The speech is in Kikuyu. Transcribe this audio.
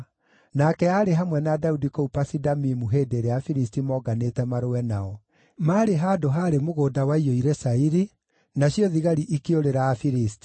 Nake aarĩ hamwe na Daudi kũu Pasi-Damimu hĩndĩ ĩrĩa Afilisti moonganĩte marũe nao. Maarĩ handũ haarĩ mũgũnda waiyũire cairi, nacio thigari ikĩũrĩra Afilisti.